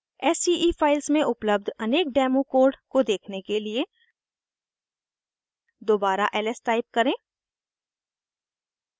sce files में उपलब्ध अनेक डेमो कोड को देखने के लिए दोबारा ls टाइप करें